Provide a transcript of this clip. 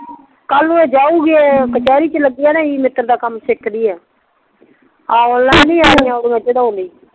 ਕੱਲ ਨੂੰ ਏ ਜਾਊਗੀ ਏ ਕਚੇਰੀ ਚ ਲੱਗੀ ਆ ਨਾ ਵਕੀਲ ਦਾ ਕੰਮ ਸਿੱਖਦੀ ਆ